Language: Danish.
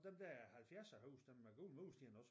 Dem der halvfjerdserhuse dem med gule mursten også